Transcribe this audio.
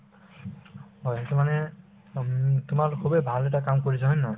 হয়, সেইটো মানে উম তোমাৰ খুবেই ভাল এটা কাম কৰিছে হয় নে নহয়